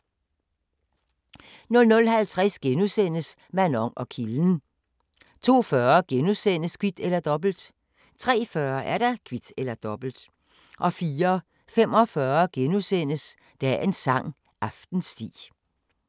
00:50: Manon og kilden * 02:40: Kvit eller Dobbelt * 03:40: Kvit eller Dobbelt 04:45: Dagens sang: Aftensti *